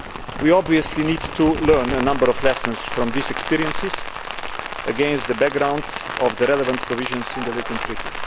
We obviously need to learn a number of lessons from these experiences, against the background of the relevant provisions in the Lisbon Treaty.